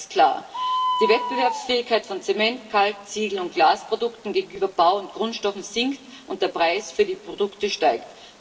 Und eines ist klar Die Wettbewerbsfähigkeit von Zement Kalk Ziegel und Glasprodukten gegenüber Bau und Grundstoffen sinkt, und der Preis für die Produkte steigt.